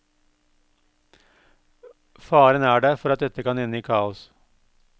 Faren er der for at dette kan ende i kaos.